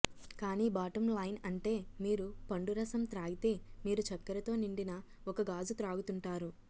కానీ bottom line అంటే మీరు పండు రసం త్రాగితే మీరు చక్కెరతో నిండిన ఒక గాజు త్రాగుతుంటారు